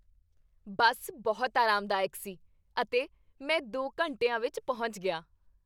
ਬੱਸ ਬਹੁਤ ਆਰਾਮਦਾਇਕ ਸੀ ਅਤੇ ਮੈਂ ਦੋ ਘੰਟਿਆਂ ਵਿੱਚ ਪਹੁੰਚ ਗਿਆ